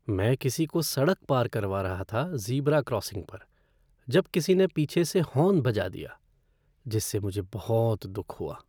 मैं किसी को सड़क पार करवा रहा था ज़ीब्रा क्रॉसिंग पर जब किसी ने पीछे से हॉर्न बजा दिया, जिससे मुझे बहुत दुख हुआ।